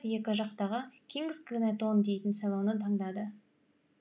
екі жақтағы кингз гнэтон дейтін селоны таңдады